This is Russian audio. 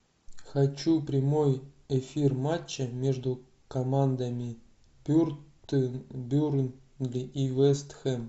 хочу прямой эфир матча между командами бернли и вест хэм